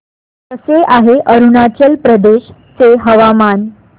कसे आहे अरुणाचल प्रदेश चे हवामान